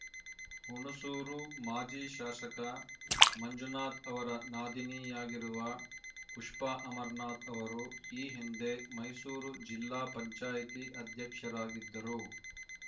ಹುಣಸೂರು ಮಾಜಿ ಶಾಸಕ ಮಂಜುನಾಥ್‌ ಅವರ ನಾದಿನಿಯಾಗಿರುವ ಪುಷ್ಪಾ ಅಮರನಾಥ್‌ ಅವರು ಈ ಹಿಂದೆ ಮೈಸೂರು ಜಿಲ್ಲಾ ಪಂಚಾಯತಿ ಅಧ್ಯಕ್ಷರಾಗಿದ್ದರು